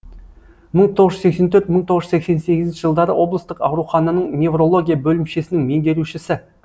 мың тоғыз жүз сексен төрт мың тоғыз жүз сексен сегізінші жылдары облыстық аурухананың неврология бөлімшесінің меңгерушісі